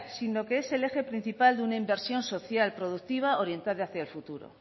sino que es el eje principal de una inversión social productiva orientada hacia el futuro